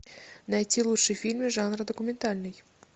найти лучшие фильмы жанра документальный